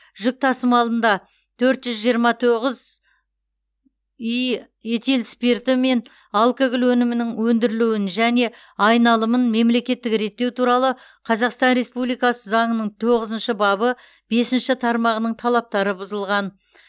жүк тасымалында төрт жүз жиырма тоғыз і этил спирті мен алкоголь өнімінің өндірілуін және айналымын мемлекеттік реттеу туралы қазақстан республикасы заңының тоғызыншы бабы бесінші тармағының талаптары бұзылған